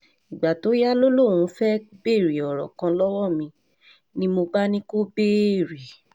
ìgbà tó yá lọ ni òun fẹ́ẹ́ béèrè ọ̀rọ̀ kan lọ́wọ́ mi ni mo bá ní kó béèrè